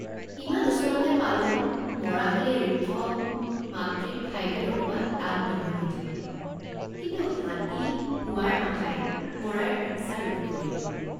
ইমান ওচৰতে পালোঁ মৰা হলে ঋক্ষ মাতৃক ঠাইতে ৰখোৱা টান নহলহেঁতেন কিন্তু হাতী পোৱাৰ আশাই মৰাৰ ইচ্ছা ৰোধ কৰিলে।